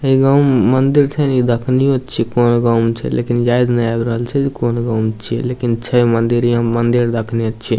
एगो मंदिर छै इ देखनियो छीये कोन गांव मे छै लेकिन याद ने आब रहल छै कोन गांव छीये लेकिन छै मंदिर यहाँ मंदिर देखने छीये ।